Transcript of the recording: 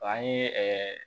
An ye ɛɛ